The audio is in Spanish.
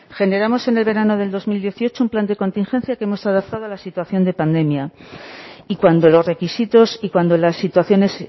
generamos en el verano de dos mil dieciocho un plan de contingencia que hemos adaptado a la situación de pandemia y cuando los requisitos y cuando las situaciones